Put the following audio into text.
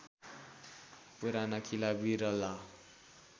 पुराना किला बिरला